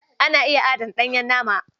Ana iya adana ɗanyen nama.